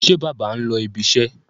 Ṣé bàbá ń lọ ibiṣẹ́?